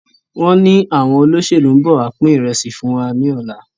Wọn ní àwọn olóṣèlú ń bọ̀ wá pin ìrẹsì fún wa ní ọ̀la.